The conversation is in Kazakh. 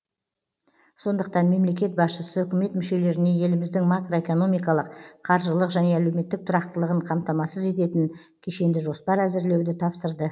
сондықтан мемлекет басшысы үкімет мүшелеріне еліміздің макро экономикалық қаржылық және әлеуметтік тұрақтылығын қамтамасыз ететін кешенді жоспар әзірлеуді тапсырды